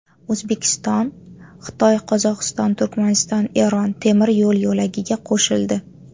O‘zbekiston Xitoy-Qozog‘iston-Turkmaniston-Eron temir yo‘l yo‘lagiga qo‘shildi.